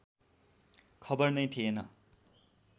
खबर नै थिएन